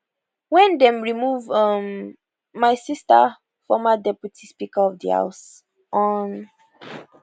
wen dem remove um my sister former deputy speaker of di house hon